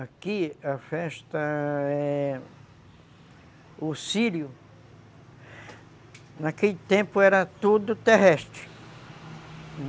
Aqui, a festa é... O sírio... Naquele tempo era tudo terrestre.